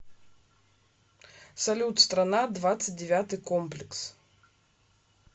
салют страна двадцать девятый комплекс